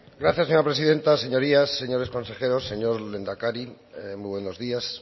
gracias señora presidenta señorías señores consejeros señor lehendakari muy buenos días